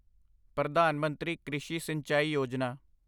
Pradhan Mantri Krishi Sinchai Yojana